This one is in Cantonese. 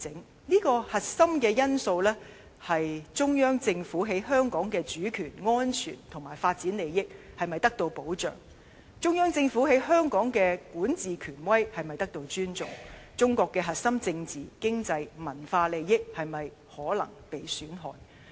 當中的核心因素，是中央政府於香港的主權安全及發展利益是否得到保障，中央政府於香港的管治權威是否得到尊重，中國核心政治、經濟、文化利益是否可能被損害。